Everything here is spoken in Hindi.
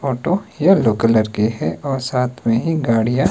ऑटो येलो कलर के हैं और साथ में ही गाड़ियां--